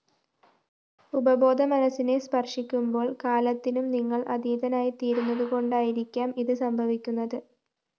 ഉപബോധമനസ്സിനെ സ്പര്‍ശിക്കുമ്പോള്‍ കാലത്തിനും നിങ്ങള്‍ അതീതനായിത്തീരുന്നതുകൊണ്ടായിരിക്കാം ഇത്‌ സംഭവിക്കുന്നത്‌